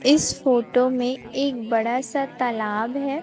इस फोटो में एक बड़ा सा तालाब है।